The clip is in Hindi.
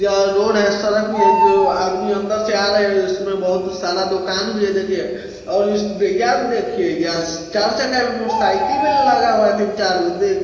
यहाँ रोड हैं। सड़क भी हैं जो आदमी अंदर से आ रहे हैं| उसमे बहोत सारा दुकान भी हैं| देखिये और इस यहाँ देखिये यस चार जगह मोटरसाइकिल भी लगा हुआ हैं तीन चार मैं देख--